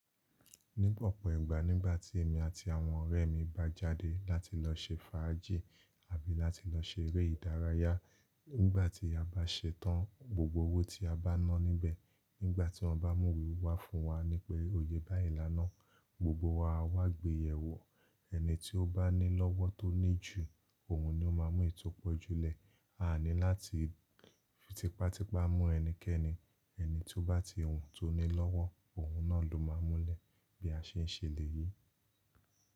Ní ọ̀pọ̀ ìgbà, nígbà tí èmi àti àwọn ọ̀rẹ́ mi bá jáde láti lọ ṣe fàájì àbí láti lọ ṣe eré ìdárayá, nígbà tí a bá ṣetán, gbogbo owó tí a bá ná níbẹ̀, nígbà tí wọ́n bá mú we wá fún wa ní pé o yé báyìí lánàá, gbogbo wa á wá gbé yẹ wọ́. Ẹni tí ó bá ní lọ́wọ́ tó ní jù, òun ni ó máa mú eyi to pọ̀ jùlẹ. A ani láti fi tipátípá mú ẹnikẹ́ni, ẹni tí ó bá ti wùn tó ní lọ́wọ́, òun náà ló máa múlẹ̀ bí a ṣe ń ṣe lè yí.